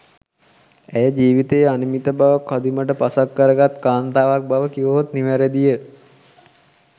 ඇය ජීවිතයේ අනිමිත බව කදිමට පසක් කරගත් කාන්තාවක් බව කිවහොත් නිවැරදිය.